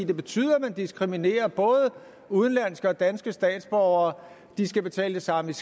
det betyder at man diskriminerer både udenlandske og danske statsborgere de skal betale det samme